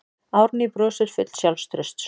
Árný brosir full sjálfstrausts.